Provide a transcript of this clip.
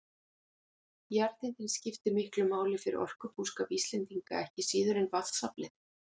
Jarðhitinn skiptir miklu máli fyrir orkubúskap Íslendinga ekki síður en vatnsaflið.